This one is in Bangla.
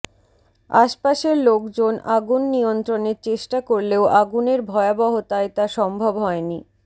আশপাশের লোকজন আগুন নিয়ন্ত্রণের চেষ্টা করলেও আগুনের ভয়াবহতায় তা সম্ভব হয়নি